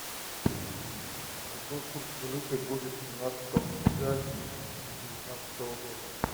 какой курс валюты будет семнадцатого ноября две тысячи девятнадцатого года